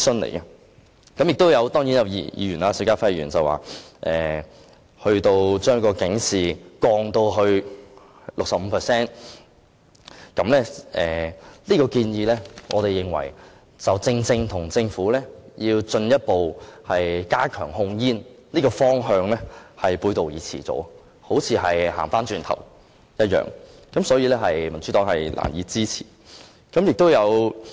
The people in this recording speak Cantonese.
邵家輝議員建議把圖像警示的面積減小至最少 65%， 我們認為他的建議正正與政府進一步加強控煙的方向背道而馳，好像走回頭路一般，所以民主黨是難以支持的。